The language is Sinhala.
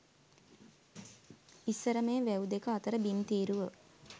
ඉස්සර මේ වැව් දෙක අතර බිම් තීරුව